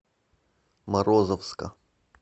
морозовска